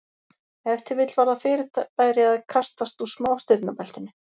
Ef til vill var það fyrirbæri að kastast úr smástirnabeltinu.